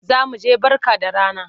Za mu je Barka da rana.